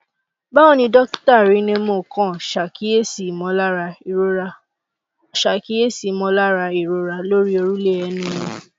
báwò ni dókítà rynnemo kan ṣàkíyèsí ìmọlára ìrora ṣàkíyèsí ìmọ̀lára ìrora lórí òrùlé ẹnu mi